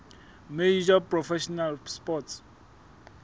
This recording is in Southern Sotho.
major professional sports